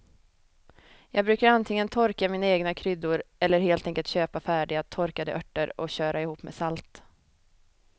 Jag brukar antingen torka mina egna kryddor eller helt enkelt köpa färdiga torkade örter och köra ihop med salt.